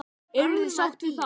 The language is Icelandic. Eruð þið sátt við það?